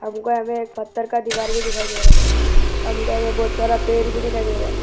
हमको आगे एक पत्थर का दीवार भी दिखाई दे रहा है हमको आगे बहोत सारा पेड़ भी दिखाई दे रहा है।